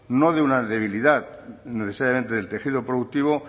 no de una debilidad necesariamente del tejido productivo